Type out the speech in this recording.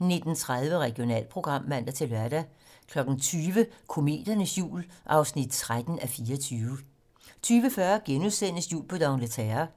19:30: Regionalprogram (man-lør) 20:00: Kometernes jul (13:24) 20:40: Jul på d'Angleterre *